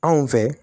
Anw fɛ